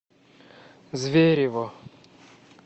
зверево